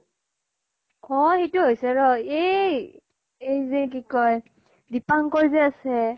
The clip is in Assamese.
কৰ ইটো হৈছে ৰ এই এই যে কি কয় দিপাঙ্কৰ যে আছে,